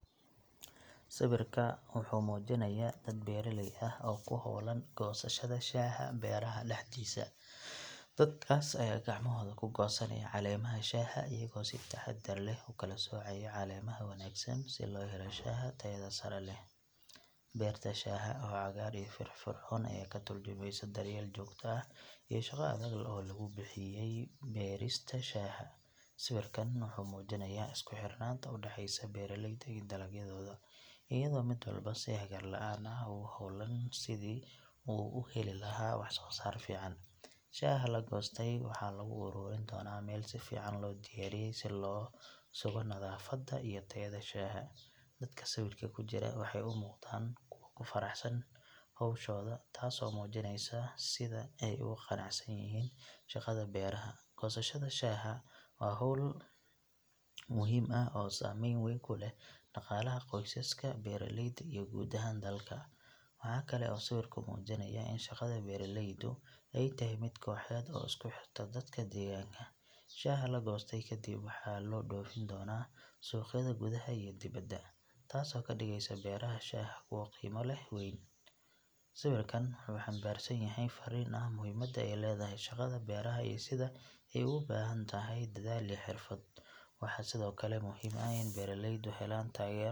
Sawirka wuxuu muujinayaa dad beeraley ah oo ku hawlan goosashada shaaha beeraha dhexdiisa. Dadkaas ayaa gacmahooda ku goosanaya caleemaha shaaha iyaga oo si taxaddar leh u kala soocaya caleemaha wanaagsan si loo helo shaaha tayada sare leh. Beerta shaaha oo cagaar iyo firfircoon ayaa ka tarjumaysa daryeel joogto ah iyo shaqo adag oo lagu bixiyay beerista shaaha. Sawirkan wuxuu muujinayaa isku xirnaanta u dhaxaysa beeraleyda iyo dalagyadooda, iyadoo mid walba si hagar la’aan ah ugu howlan sidii uu u heli lahaa wax soo saar fiican. Shaaha la goostay waxaa lagu ururin doonaa meel si fiican loo diyaariyey si loo sugo nadaafadda iyo tayada shaaha. Dadka sawirka ku jira waxay u muuqdaan kuwo ku faraxsan hawshooda taasoo muujinaysa sida ay ugu qanacsan yihiin shaqada beeraha. Goosashada shaaha waa hawl muhiim ah oo saameyn weyn ku leh dhaqaalaha qoysaska beeraleyda iyo guud ahaan dalka. Waxa kale oo sawirku muujinayaa in shaqada beeralaydu ay tahay mid kooxeed oo isku xirta dadka deegaanka. Shaaha la goostay kadib waxaa loo dhoofin doonaa suuqyada gudaha iyo dibadda, taasoo ka dhigaysa beeraha shaaha kuwo leh qiimo weyn. Sawirkan waxa uu xambaarsan yahay farriin ah muhiimadda ay leedahay shaqada beeraha iyo sida ay ugu baahan tahay dadaal iyo xirfad. Waxaa sidoo kale muhim ah in beeraleydu helaan taageero .